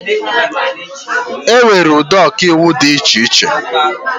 Enwere ụdị Ọkaiwu dị iche iche